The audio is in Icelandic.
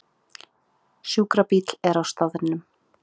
Sjúkrabíll er á staðnum